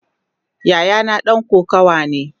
Yayana dan kokawa ne.